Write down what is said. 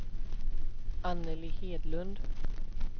Anneli Hedlund